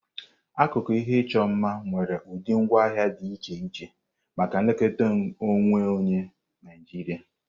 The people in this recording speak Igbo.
Akụkụ ihe ịchọ mma nwere ụdị ngwaahịa dị iche iche maka nlekọta onwe onye Naijiria.